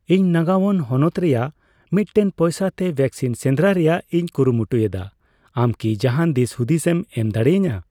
ᱤᱧ ᱱᱟᱹᱜᱟᱣᱳᱱ ᱦᱚᱱᱚᱛ ᱨᱮᱭᱟᱜ ᱢᱤᱴᱴᱮᱱ ᱯᱚᱭᱥᱟ ᱛᱮ ᱣᱮᱠᱥᱤᱱ ᱥᱮᱱᱫᱨᱟᱭ ᱨᱮᱭᱟᱜᱤᱧ ᱠᱩᱨᱩᱢᱩᱴᱩᱭᱮᱫᱟ, ᱟᱢ ᱠᱤ ᱡᱟᱦᱟᱸᱱ ᱫᱤᱥᱦᱩᱫᱤᱥᱮᱢ ᱮᱢ ᱫᱟᱲᱮᱭᱟᱹᱧᱟ ?